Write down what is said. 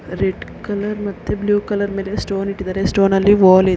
red colour ಮತ್ತೆ blue colour ಮೇಲೆ stone ಇಟ್ಟಿದಾರೆ ಸ್ಟೋನ್ ನಲ್ಲಿ --